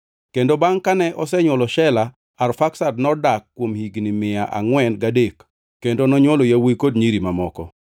Kendo bangʼ kane osenywolo Shela, Arfaksad nodak kuom higni mia angʼwen gadek kendo nonywolo yawuowi kod nyiri mamoko.